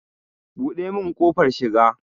Buɗe min kofar shigar.